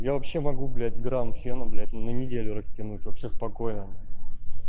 я вообще могу блять грамм фена блять ну на неделю растянуть вообще спокойно на